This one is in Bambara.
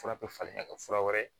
Fura bɛ falen ka kɛ fura wɛrɛ ye